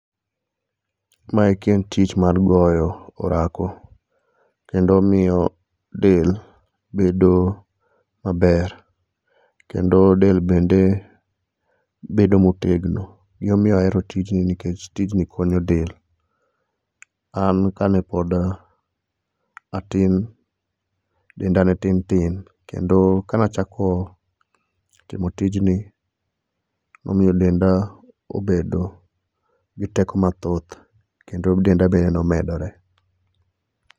maeki en tich mar goyo orako kendo miyo del bedo maber kendo del bende bedo motegno gimomiyo ahero tijni nikech tini konyo del an kanepod atin denda netintin kendo kanachako timo tijni nomiyo denda obedo gi teko mathoth kendo denda be nomedore